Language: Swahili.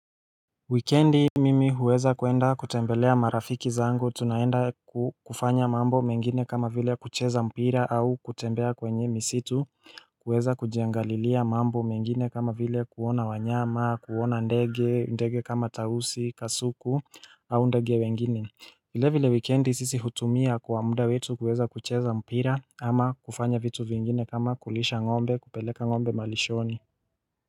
Wikendi mimi huweza kuenda kutembelea marafiki zangu, tunaenda kufanya mambo mengine kama vile kucheza mpira au kutembea kwenye misitu kuweza kujiangalilia mambo mengine, kama vile kuona wanyama, kuona ndege ndege kama tausi, kasuku au ndege wengine. Vile vile wikendi sisi hutumia kwa muda wetu kuweza kucheza mpira ama kufanya vitu vingine kama kulisha ng'ombe kupeleka ng'ombe malishoni.